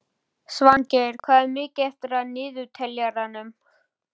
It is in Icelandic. Svangeir, hvað er mikið eftir af niðurteljaranum?